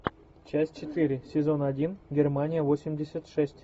часть четыре сезон один германия восемьдесят шесть